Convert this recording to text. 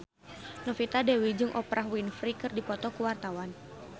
Novita Dewi jeung Oprah Winfrey keur dipoto ku wartawan